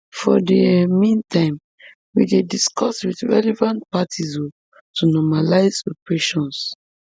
for di um meantime we dey discuss wit relevant parties um to normalise operations